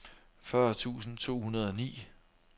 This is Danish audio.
fyrre tusind to hundrede og ni